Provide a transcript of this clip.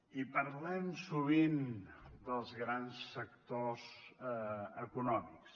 i parlem sovint dels grans sectors econòmics